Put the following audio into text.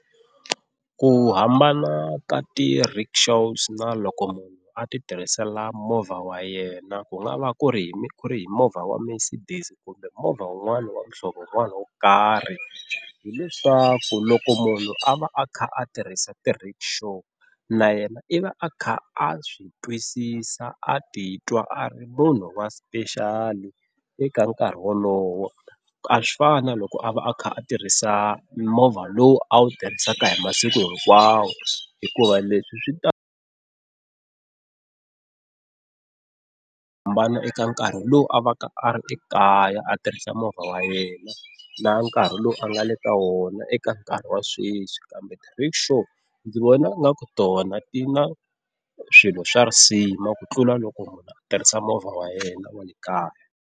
Ku hambana ka ti-rickshaws na loko munhu a ti tirhisela movha wa yena ku nga va ku ri ku ri hi movha wa Mercedes kumbe movha wun'wana wa muhlovo wun'wana wo karhi. Hi leswaku loko munhu a va a kha a tirhisa ti-rickshaw na yena i va a kha a swi twisisa a titwa a ri munhu wa special eka nkarhi wolowo, a swi fani na loko a va a kha a tirhisa movha lowu a wu tirhisaka hi masiku hinkwawo hikuva leswi swi ta hambana eka nkarhi lowu a va ka a ri ekaya a tirhisa movha wa yena na nkarhi lowu a nga le ka wona eka nkarhi wa sweswi. Kambe ti-rickshaw ndzi vona ingaku tona ti na swilo swa risima ku tlula loko munhu a tirhisa movha wa yena wa le kaya.